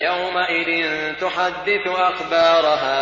يَوْمَئِذٍ تُحَدِّثُ أَخْبَارَهَا